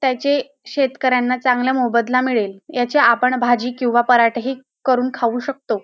त्याचे शेतकऱ्यांला चांगला मोबदला मिळेल याचे आपण भाजी किंवा पराठेही करून खाऊ शकतो.